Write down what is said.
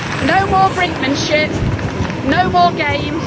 No more brinkmanship, no more games.